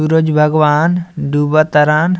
सूरज भगवान डूब तारन।